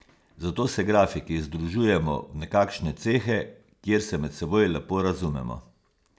Zato se grafiki združujemo v nekakšne cehe, kjer se med seboj lepo razumemo.